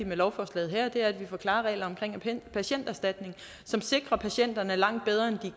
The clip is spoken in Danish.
med lovforslaget her er at vi får klare regler om patienterstatning som sikrer patienterne langt bedre end de